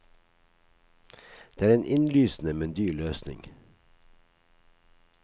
Det er en innlysende, men dyr løsning.